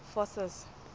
forces